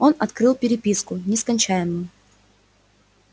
он открыл переписку нескончаемую